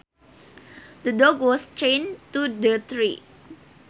The dog was chained to the tree